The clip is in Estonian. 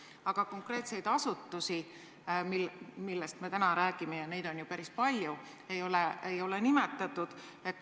Aga konkreetseid asutusi, millest me täna räägime – ja neid on ju päris palju – ei ole nimetatud.